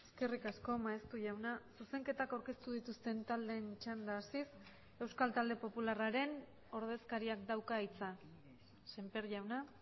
eskerrik asko maeztu jauna zuzenketak aurkeztu dituzten taldeen txanda hasiz euskal talde popularraren ordezkariak dauka hitza semper jauna